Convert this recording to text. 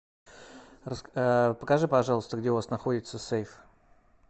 покажи пожалуйста где у вас находится сейф